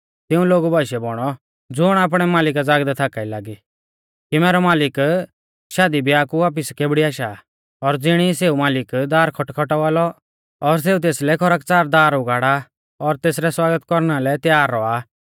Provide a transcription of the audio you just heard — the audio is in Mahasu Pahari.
तिऊं लोगु बाशीऐ बौणौ ज़ुण आपणै मालिका ज़ागदै थाका ई लागी कि मैरौ मालिक शादी ब्याह कु वापिस केबड़ी आशा और ज़िणी सेऊ मालिक दार खटखटावा लौ और सेऊ तेसलै खरकच़ार दार उगाड़ा और तेसरै स्वागत कौरना लै तैयार रौआ